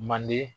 Manden